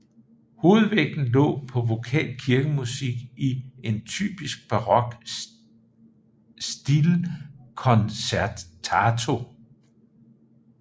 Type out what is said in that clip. Hovedvægten lå på vokal kirkemusik i en typisk barok stile concertato